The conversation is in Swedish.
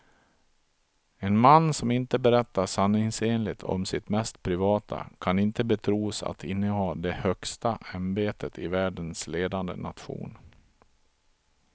En man som inte berättar sanningsenligt om sitt mest privata kan inte betros att inneha det högsta ämbetet i världens ledande nation.